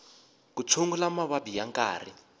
ku tshungula mavabyi ya nkarhi